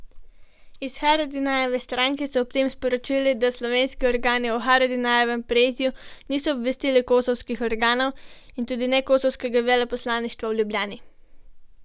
Iz Haradinajeve stranke so ob tem sporočili, da slovenski organi o Haradinajevem prijetju niso obvestili kosovskih organov in tudi ne kosovskega veleposlaništva v Ljubljani.